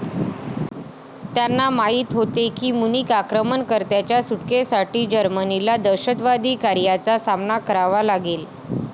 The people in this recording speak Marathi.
त्यांना माहित होते की मुनिक आक्रमणकर्त्यांच्या सुटकेसाठी जर्मनीला दहशतवादी कार्यांचा सामना करावा लागेल.